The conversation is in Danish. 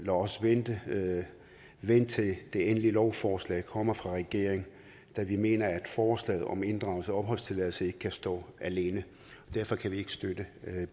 os vente til det endelige lovforslag kommer fra regeringen da vi mener at forslaget om inddragelse af opholdstilladelse ikke kan stå alene derfor kan vi ikke støtte